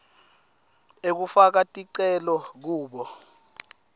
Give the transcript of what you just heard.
ekufaka ticelo kubo